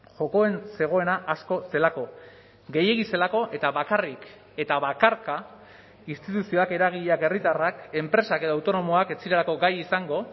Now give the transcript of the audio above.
jokoen zegoena asko zelako gehiegi zelako eta bakarrik eta bakarka instituzioak eragileak herritarrak enpresak edo autonomoak ez zirelako gai izango